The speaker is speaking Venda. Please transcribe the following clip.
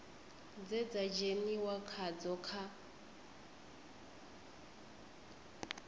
dze dza dzheniwa khadzo kha